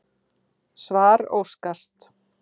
Svar óskast.